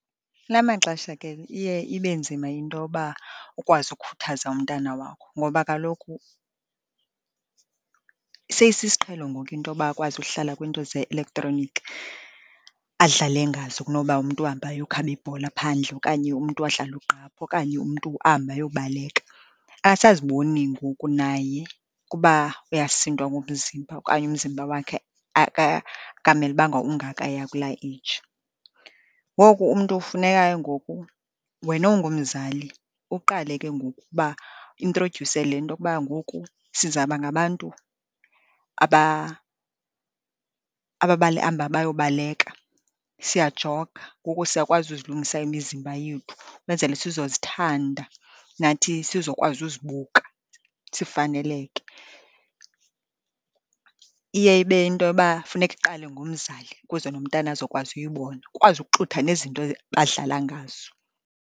Kula maxesha ke iye ibe nzima into yoba ukwazi ukhuthaza umntana wakho ngoba kaloku seyisisiqhelo ngoku intoba akwazi uhlala kwiinto ze-electronic adlale ngazo kunoba umntu ahambe ayokhaba ibhola phandle okanye umntu adlale ugqaphu, okanye umntu ahambe ayobaleka. Akasaziboni ngoku naye ukuba uyasindwa ngumzimba okanye umzimba wakhe akamelubanga ungakaya kulaa eyiji. Ngoku umntu funeka ke ngoku wena ungumzali uqale ke ngoku ukuba uintrodyuse le nto yokuba ngoku sizawuba ngabantu abahamba bayobaleka. Siyajoga, ngoku siyakwazi uzilungisa imizimba yethu, ukwenzele sizozithanda nathi sizokwazi uzibuka, sifaneleke. Iye ibe yinto yoba funeka iqale ngomzali, ukuze nomntana azokwazi uyibona, ukwazi ukuxutha nezinto badlala ngazo.